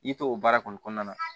I to o baara kɔni kɔnɔna na